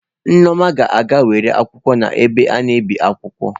Nneoma ga-aga were akwụkwọ n'ebe a na-ebi akwụkwọ